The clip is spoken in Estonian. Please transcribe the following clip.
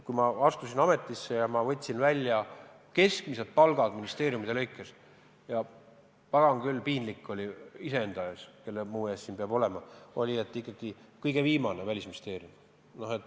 Kui ma astusin ametisse ja võtsin välja keskmised palgad ministeeriumide lõikes, siis, pagan küll, piinlik oli iseenda ees – kelle muu ees siis peab olema –, ikkagi kõige viimane oli Välisministeerium.